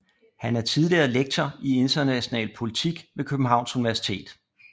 Han er tidligere lektor i international politik ved Københavns Universitet